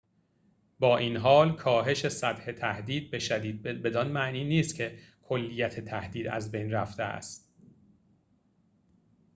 با این‌حال کاهش سطح تهدید به شدید بدان معنی نیست که کلیت تهدید از بین رفته است